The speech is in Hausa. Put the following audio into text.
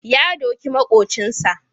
Ya doki maƙocinsa.